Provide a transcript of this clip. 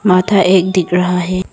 माथा एक दिख रहा है।